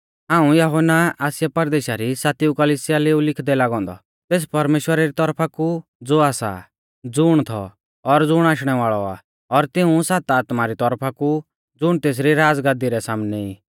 हाऊं यहुन्ना आसिया परदेशा री सातिआ कलिसिया लै ऊ लिखदै लागौ औन्दौ तेस परमेश्‍वरा री तौरफा ज़ो आसा ज़ुण थौ और ज़ुण आशणै वाल़ौ आ और तिऊं सात आत्मा री तौरफा कु ज़ुण तेसरी राज़गादी रै सामनै ई